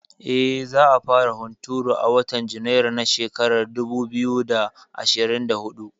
Eh, za a fara hunturu a watan Junairu na shekara dubu biyu da ashirin da huɗu